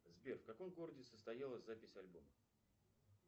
сбер в каком городе состоялась запись альбома